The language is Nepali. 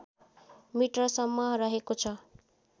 मिटरसम्म रहेको छ